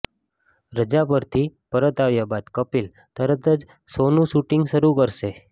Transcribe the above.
રજા પરથી પરત આવ્યા બાદ કપિલ તરત જ શોનું શૂટિંગ શરૂ કરશે